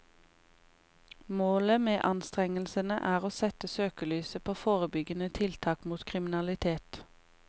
Målet med anstrengelsene er å sette søkelyset på forebyggende tiltak mot kriminalitet.